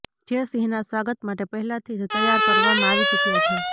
જે સિંહના સ્વાગત માટે પહેલાથી જ તૈયાર કરવામાં આવી ચુક્યા છે